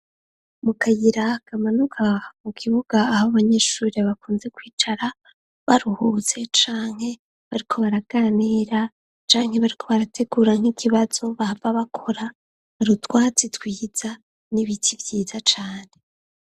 Mu kayira kamanuka mu kibuga aho abanyeshure bakunze kwicara baruhutse canke bariko baraganira canke bariko barategura nk'ikibazo bahava bakora utwatsi twiza n'ibiti vyiza cane.